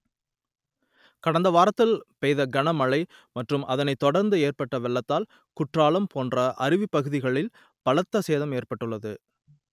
க‌ட‌ந்த வார‌த்‌தி‌ல் பெ‌ய்த கன மழை ம‌ற்று‌ம் அதனை‌த் தொட‌ர்‌ந்து ஏ‌ற்ப‌ட்ட வெள்ளத்தால் குற்றாலம் போ‌ன்ற அருவி பகுதிகளில் பல‌த்த சேதம் ஏற்பட்டுள்ளது